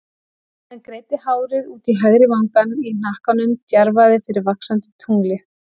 Hann greiddi hárið út í hægri vangann, í hnakkanum djarfaði fyrir vaxandi tungli.